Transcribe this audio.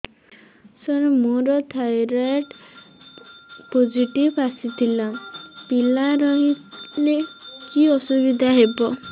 ସାର ମୋର thyroid positive ଆସିଥିଲା ପିଲା ରହିଲେ କି ଅସୁବିଧା ହେବ